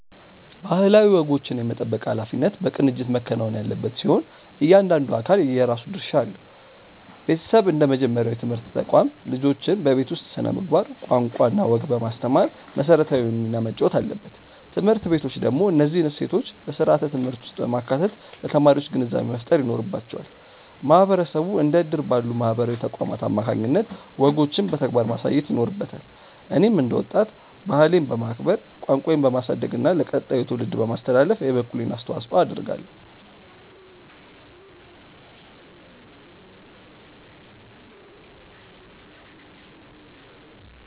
ባህላዊ ወጎችን የመጠበቅ ኃላፊነት በቅንጅት መከናወን ያለበት ሲሆን፣ እያንዳንዱ አካል የራሱ ድርሻ አለው። ቤተሰብ እንደ መጀመሪያው የትምህርት ተቋም፣ ልጆችን በቤት ውስጥ ስነ-ምግባር፣ ቋንቋና ወግ በማስተማር መሰረታዊውን ሚና መጫወት አለበት። ትምህርት ቤቶች ደግሞ እነዚህን እሴቶች በስርዓተ-ትምህርት ውስጥ በማካተት ለተማሪዎች ግንዛቤ መፍጠር ይኖርባቸዋል። ማህበረሰቡ እንደ እድር ባሉ ማህበራዊ ተቋማት አማካኝነት ወጎችን በተግባር ማሳየት ይኖርበታል። እኔም እንደ ወጣት፣ ባህሌን በማክበር፣ ቋንቋዬን በማሳደግና ለቀጣዩ ትውልድ በማስተላለፍ የበኩሌን አስተዋጽኦ አደርጋለሁ።